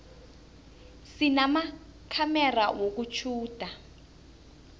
sinamakhamera wokutjhuda